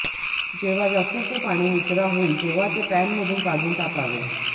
जेव्हा जास्तीचे पाणी निचरा होईल तेव्हा ते पॅनमधून काढून टाकावे